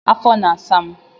afọ na-asa m.